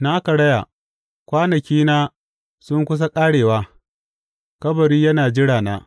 Na karaya, kwanakina sun kusa ƙarewa, kabari yana jirana.